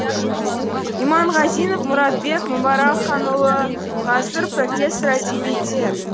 иманғазинов мұратбек мүбәракханұлы ғасыр профессор әдебиеттер